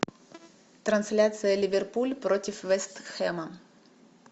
трансляция ливерпуль против вест хэма